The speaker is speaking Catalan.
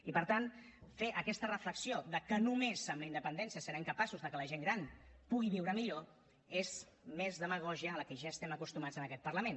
i per tant fer aquesta reflexió que només amb la independència serem capaços que la gent gran pugui viure millor és més demagògia a la qual ja estem acostumats en aquest parlament